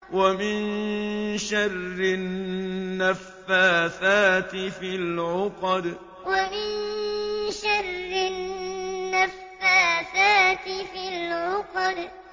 وَمِن شَرِّ النَّفَّاثَاتِ فِي الْعُقَدِ وَمِن شَرِّ النَّفَّاثَاتِ فِي الْعُقَدِ